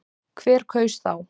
Hver kaus þá?